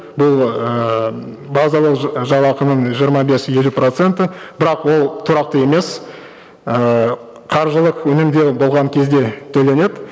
бұл ыыы базалық жалақының жиырма бес елу проценті бірақ ол тұрақты емес ыыы қаржылық үнемдеу болған кезде төленеді